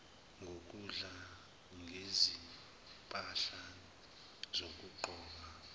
ngokudla ngezimpahla zokugqoka